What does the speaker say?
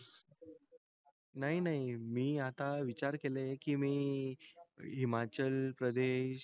नाही नाही मी आता विचार केलं के मी हिमाचल प्रदेश